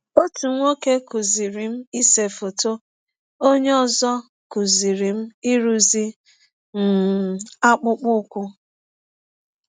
Ọtụ nwọke kụziiri m ise fọtọ, onye ọzọ kụziri m ịrụzi um akpụkpọ ụkwụ.